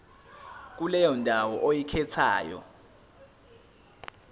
kuleyo ndawo oyikhethayo